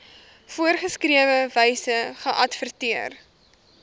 voorgeskrewe wyse geadverteer